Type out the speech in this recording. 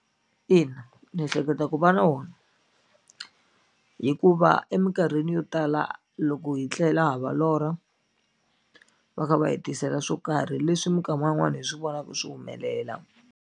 Ina, ni ehleketa ku va na wona hikuva emikarhini yo tala loko hi tlela hava lorha va kha va hi tisela swo karhi leswi minkama yin'wani hi swi vonaku swi humelela.